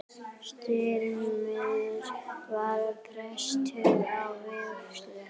Styrmir var prestur að vígslu.